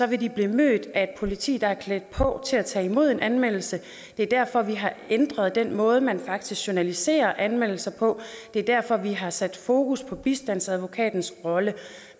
vil de blive mødt af et politi der er klædt på til at tage imod en anmeldelse det er derfor vi har ændret den måde man faktisk journaliserer anmeldelser på det er derfor vi har sat fokus på bistandsadvokatens rolle